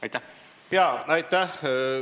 Aitäh!